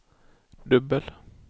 dubbel